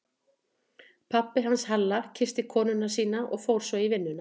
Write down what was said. Pabbi hans Halla kyssti konuna sína og fór svo í vinnuna.